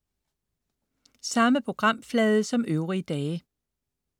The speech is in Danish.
Samme programflade som øvrige dage